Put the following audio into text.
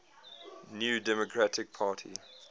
new democratic party